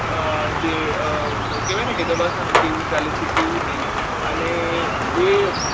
કહેવાય ને કે દવાખાને જેવું ચાલે છે તેવું નહીં અને એ